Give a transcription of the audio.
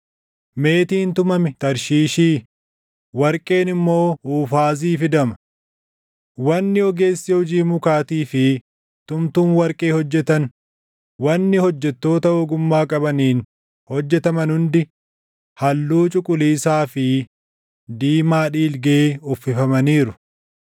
Meetiin tumame Tarshiishii, warqeen immoo Uufaazii fidama. Wanni ogeessi hojii mukaatii fi tumtuun warqee hojjetan, wanni hojjettoota ogummaa qabaniin hojjetaman hundi halluu cuquliisaa fi diimaa dhiilgee uffifamaniiru.